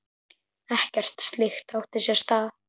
Ekkert slíkt átti sér stað.